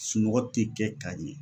Sunɔgɔ te kɛ ka ɲɛ.